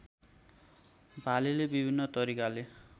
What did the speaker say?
भालेले विभिन्न तरिकाले